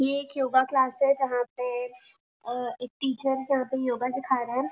ये एक yoga class है जहाँ पे अ एक टीचर यहाँ पे योगा सीखा रहे हैं।